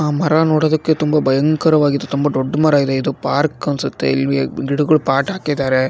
ಆ ಮರ ನೋಡೋದಕ್ಕೆ ತುಂಬಾ ಭಯಂಕರವಾಗಿದೆ ತುಂಬಾ ದೊಡ್ಡ ಮರ ಇದು ಇದು ಪಾರ್ಕ್ ಅನ್ಸುತ್ತೆ ಇಲ್ ಇಲ್ ಗಿಡಗಳ ಪಾಟ್ ಹಾಕಿದ್ದಾರೆ.